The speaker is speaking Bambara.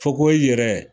Fakohoye yɛrɛ